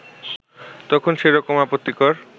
তখন সেরকম আপত্তিকর